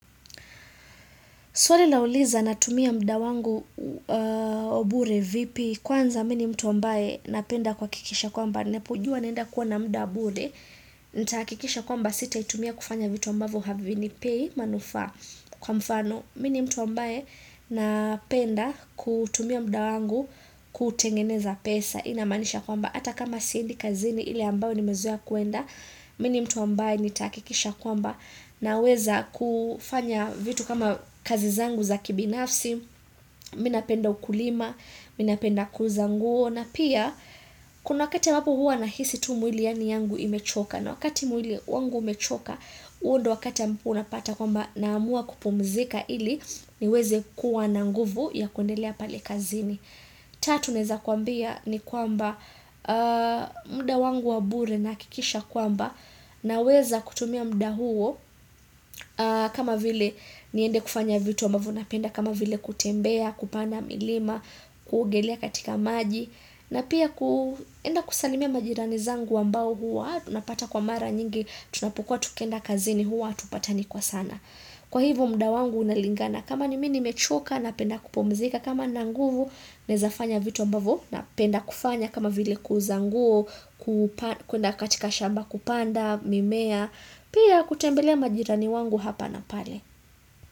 Swali lauliza natumia mda wangu wa bure vipi. Kwanza mi ni mtu ambaye napenda kuhakikisha kwamba. Napojua naenda kuwa na mda bure. Nitahakikisha kwamba sitaitumia kufanya vitu ambavo havinipei manufaa kwa mfano. Mi ni mtu ambaye napenda kutumia mda wangu kutengeneza pesa hii inamanisha kwamba. Ata kama siendi kazini ile ambao nimezoea kuenda. Mi ni mtu ambaye nitaakikisha kwamba. Na weza kufanya vitu kama kazi zangu za kibinafsi Mi napenda ukulima, mi napenda kuuza nguo na pia kuna wakati iwapo hua nahisi tu mwili yangu imechoka na wakati mwili wangu umechoka huo ndio wakati ambapo unapata kwamba naamua kupumzika ili niweze kuwa na nguvu ya kuendelea pale kazinii Tatu naeza kuambia ni kwamba mda wangu wa bure nahakikisha kwamba Naweza kutumia mda huo kama vile niende kufanya vitu ambavo Napenda kama vile kutembea, kupanda milima kuogelea katika maji na pia kuenda kusalimia majirani zangu ambao huwa napata kwa mara nyingi Tunapokua tukienda kazini huwa hatupatani kwa sana Kwa hivo mda wangu unalingana kama ni mi nimechoka napenda kupumzika kama nina nguvu naezafanya vitu ambavo Napenda kufanya kama vile kuuza nguo kuna katika shamba kupanda mimea pia kutembelea majirani wangu hapa na pale.